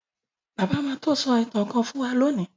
Bàbá má so ìtàn kán fún wan lóni.